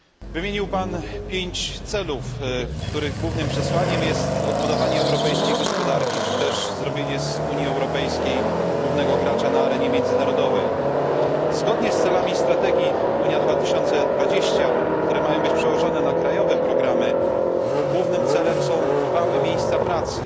Wymienił Pan pięć celów, których głównym przesłaniem jest odbudowanie europejskiej gospodarki, czy też uczynienie Unii Europejskiej głównym graczem na arenie międzynarodowej. Zgodnie z założeniami strategii Europa 2020, które mają być przełożone na programy krajowe, głównym celem są trwałe miejsca pracy.